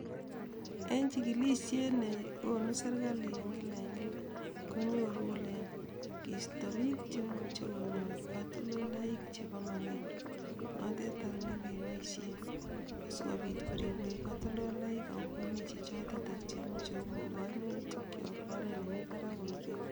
En chikilishet nekonu serekali en kila eng kila konyoru kole keisto bik chemoche konyor katoldolik chebo magendo noteton nekiboishe korib katoldolik eng oret nekararan akokon kururyo